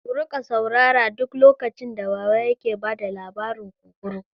Ku riƙa saurara duk lokacin da baba yake bada labarin kunkuru!